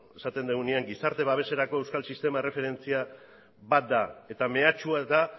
esaten dugunean gizarte babeserako euskal sistema erreferentzia bat da eta mehatxua ez da